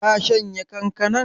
Ka shanya kankanan?